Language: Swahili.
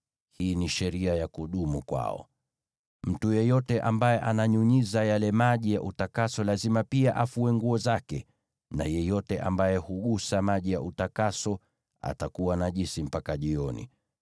Hii ni sheria ya kudumu kwao. “Mtu yeyote ambaye ananyunyiza yale maji ya utakaso lazima pia afue nguo zake, na yeyote ambaye hugusa maji ya utakaso atakuwa najisi mpaka jioni.